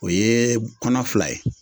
O ye kɔnɔ fila ye